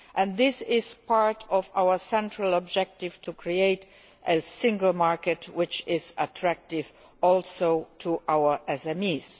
and this is part of our central objective to create a single market which is attractive also to our SMEs.